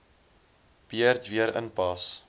beurt weer inpas